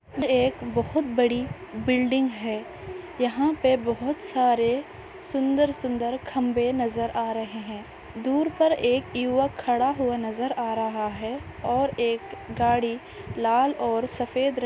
ये एक बहुत बड़ी बिल्डिंग है यहाँ पे बहुत सारे सुंदर सुंदर खंबे नजर आ रहे है दूर पर एक युवा खड़ा हुआ नजर आ रहा है और एक गाड़ी लाल और सफ़ेद र--